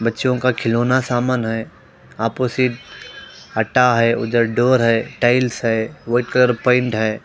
बच्चों का खिलौना सामान है अपोजिट अट्टा है उधर डोर है टाइल्स है वुड कलर पेंट है।